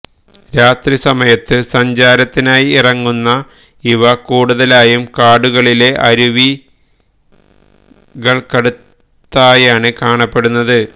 രാത്രി സമയത്ത് സഞ്ചാരത്തിനായി ഇറങ്ങുന്ന ഇവ കൂടുതലായും കാടുകളിലെ അരുവികള്ക്കടുത്തായാണ് കാണപ്പെടുന്നത്